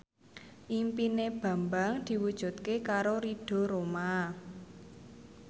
impine Bambang diwujudke karo Ridho Roma